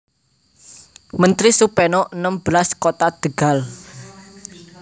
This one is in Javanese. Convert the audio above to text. Menteri Supeno enem belas Kota Tegal